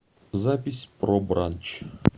запись про бранч